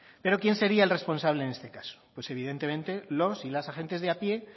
pero quién sería el responsable en este caso pues evidentemente los y las agentes de a pie